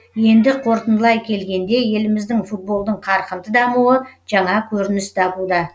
енді қорытындылай келгенде еліміздің футболдың қарқынды дамуы жаңа көрініс табуда